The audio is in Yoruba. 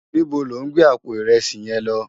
Nibó lò n gbé àpó irèsí yén lò?